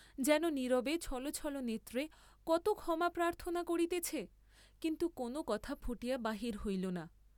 যেন নীরবে ছল ছল নেত্রে কত ক্ষমা প্রার্থনা করিতেছে, কিন্তু কোন কথা ফুটিয়া বাহির হইল না।